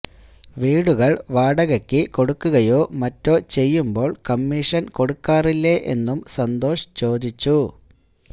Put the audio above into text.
വീടുകള് വാടകയ്ക്ക് കൊടുക്കുകയോ മറ്റോ ചെയ്യുമ്പോള് കമ്മീഷന് കൊടുക്കാറില്ലേ എന്നും സന്തോഷ് ചോദിച്ചു